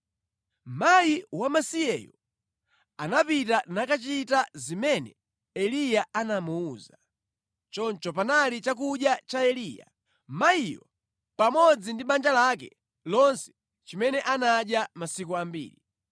Mayi wamasiyeyo anapita nakachita zimene Eliya anamuwuza. Choncho panali chakudya cha Eliya, mayiyo pamodzi ndi banja lake lonse chimene anadya masiku ambiri.